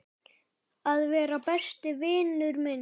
Að vera besti vinur minn.